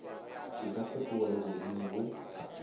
e ka fetoga legodimo go